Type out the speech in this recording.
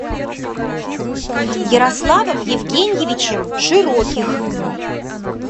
ярославом евгеньевичем широких